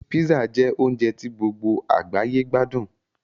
Písà jẹ́ oúnjẹ tí gbogbo àgbáyé gbádùn